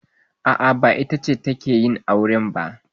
A'a, ba ita ce take yin aure ba.